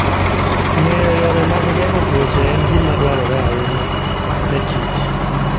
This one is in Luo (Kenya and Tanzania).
Ng'eyo yore mag geng'o tuoche en gima dwarore ahinya nekich